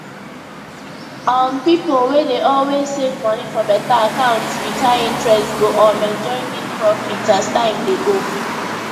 um pipo wey dey always save money for better accounts with high interest go um enjoy big profit as time dey go